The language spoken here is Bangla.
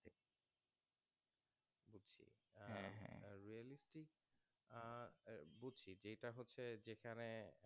যেখানে